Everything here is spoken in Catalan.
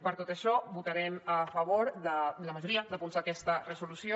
per tot això votarem a favor de la majoria de punts d’aquesta resolució